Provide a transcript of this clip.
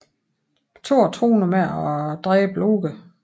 Thor truer nu med at dræbe Loke